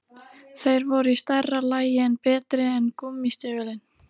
Þeir voru í stærra lagi en betri en gúmmí- stígvélin.